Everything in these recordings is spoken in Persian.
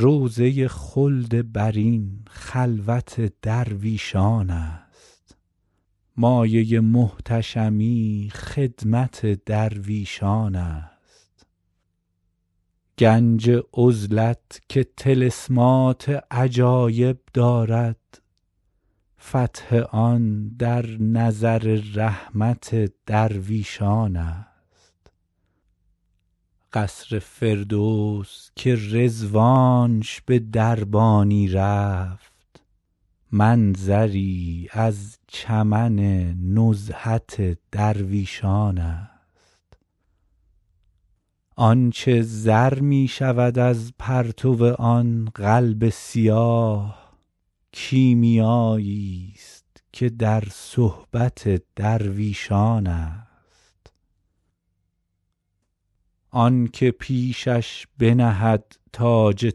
روضه خلد برین خلوت درویشان است مایه محتشمی خدمت درویشان است گنج عزلت که طلسمات عجایب دارد فتح آن در نظر رحمت درویشان است قصر فردوس که رضوانش به دربانی رفت منظری از چمن نزهت درویشان است آن چه زر می شود از پرتو آن قلب سیاه کیمیاییست که در صحبت درویشان است آن که پیشش بنهد تاج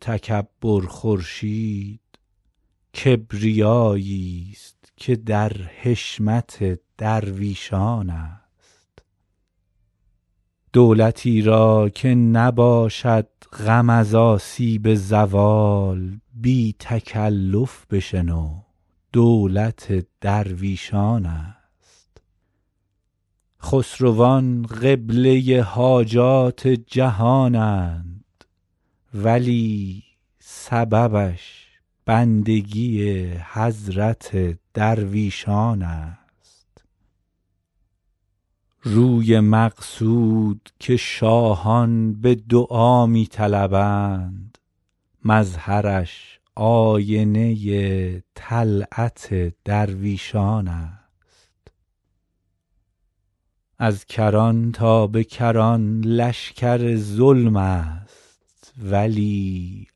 تکبر خورشید کبریاییست که در حشمت درویشان است دولتی را که نباشد غم از آسیب زوال بی تکلف بشنو دولت درویشان است خسروان قبله حاجات جهانند ولی سببش بندگی حضرت درویشان است روی مقصود که شاهان به دعا می طلبند مظهرش آینه طلعت درویشان است از کران تا به کران لشکر ظلم است ولی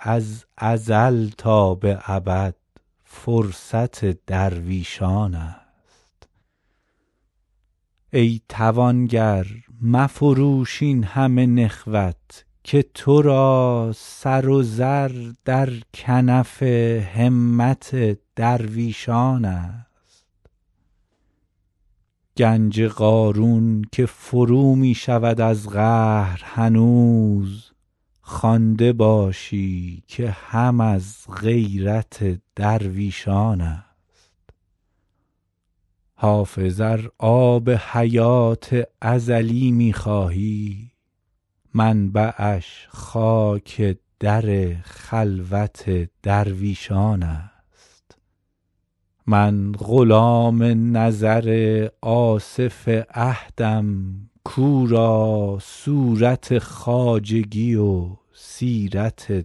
از ازل تا به ابد فرصت درویشان است ای توانگر مفروش این همه نخوت که تو را سر و زر در کنف همت درویشان است گنج قارون که فرو می شود از قهر هنوز خوانده باشی که هم از غیرت درویشان است حافظ ار آب حیات ازلی می خواهی منبعش خاک در خلوت درویشان است من غلام نظر آصف عهدم کو را صورت خواجگی و سیرت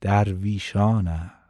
درویشان است